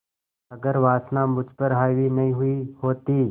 अगर वासना मुझ पर हावी नहीं हुई होती